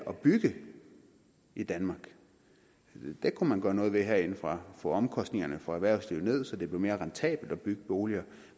at bygge i danmark det kunne man gøre noget ved herindefra få omkostningerne for erhvervslivet ned så det blev mere rentabelt at bygge boliger